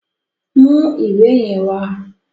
Mú ìwé yẹn wá!